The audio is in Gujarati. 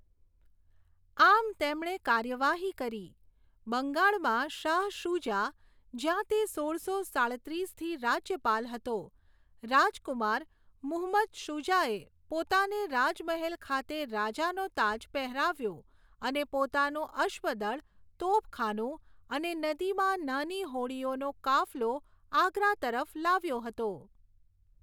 આમ, તેમણે કાર્યવાહી કરી. બંગાળમાં શાહ શુજા, જ્યાં તે સોળસો સાડત્રીસથી રાજ્યપાલ હતો, રાજકુમાર મુહમ્મદ શુજાએ પોતાને રાજમહેલ ખાતે રાજાનો તાજ પહેરાવ્યો અને પોતાનું અશ્વદળ, તોપખાનું અને નદીમાં નાની હોડીઓનો કાફલો આગ્રા તરફ લાવ્યો હતો.